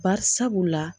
Barisabula